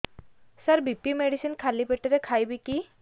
ସାର BP medicine ଖାଲି ପେଟରେ ଖାଇବି କି